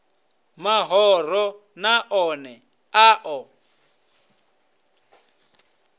mahoro na one a ḓo